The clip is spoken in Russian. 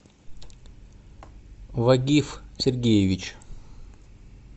вагиф сергеевич